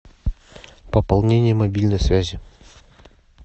пополнение мобильной связи